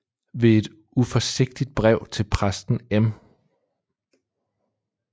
Ved et uforsigtigt Brev til Præsten M